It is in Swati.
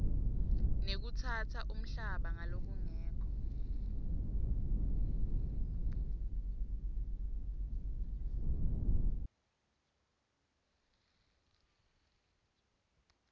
nekutsatsa umhlaba ngalokungekho